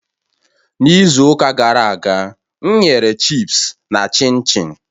N'izu ụka gara aga, m ghere chịpsi na kichin m